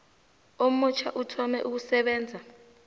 omutjha uthome ukusebenza